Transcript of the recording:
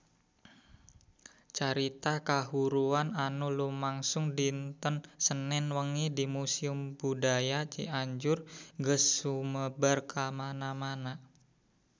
Carita kahuruan anu lumangsung dinten Senen wengi di Museum Budaya Cianjur geus sumebar kamana-mana